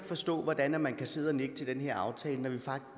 forstå hvordan man kan sidde og nikke til den her aftale